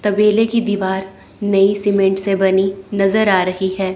तबेले की दीवार नई सीमेंट से बनी नजर आ रही है।